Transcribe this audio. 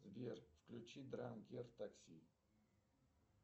сбер включи дранкер такси